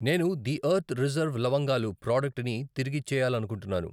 నేను the earth reserve లవంగాలు ప్రాడక్టుని తిరిగిచ్చేయాలనుకుంటున్నాను.